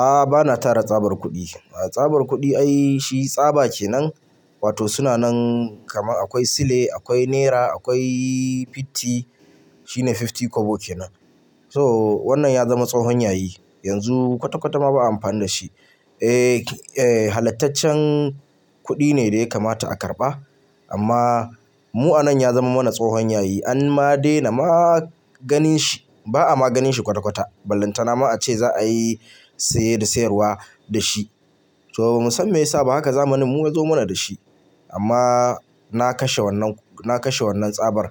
A'a bana tara tsabar kuɗi. Tsabar kuɗi ai shi tsaba kenan wato suna nan kama akwai sile, akwai nera, akwai fiti shine fifty kobo kenan. Toh, wannan ya zama tsohon yayi yanzu kwata kwata ma ba'a amfani da shi. Eh, eh halattacen kuɗi ne da ya kamata a karɓa amma mu'a nan ya zama mana tsohon yayi an ma daina maganin shi. Ba'a maganin shi kwata kwata ballanta na ma a ce za'a yi saye da sayarwa da shi. Toh, ba musan me yasa ba haka zamanin yazo mana da shi. Amma na kashe wannan, na kashe wannan tsabar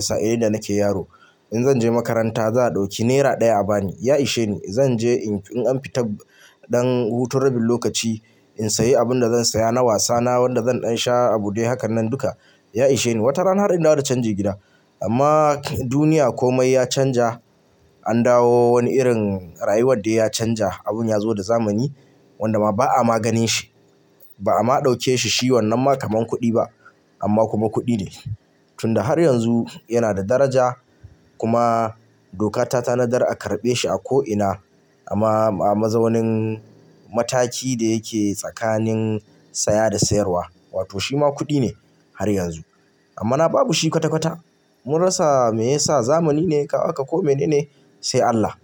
sa'ilin da nake yaro. In zan je makaranta za'a ɗauki naira ɗaya a bani, ya ishe ni. Zan je in an fita ɗan hutu rabin lokaci in sayi abun da zan saya na wasa na wanda zan sha a buɗe haka nan duka ya ishe ni. Wata rana har in dawo da cajan ji gida amma duniya komai ya canja an dawo wani irin rayuwar da ya canja abun ya zo da zamani wanda ma ba'a maganin shi. Ba'a ma ɗauke shi shi wannan ma kaman kuɗi ba amma kuma kuɗi ne. Tunda har yanzu yana da daraja kuma doka ta tanadar a karɓe shi a ko'ina amma a mazaunin mataki da yake tsakanin saya da sayarwa wato shi ma kuɗi ne har yanzu. Amma na babu shi kwata kwata mun rasa mayasa zamani ne kawu haka ko mene ne sai Allah.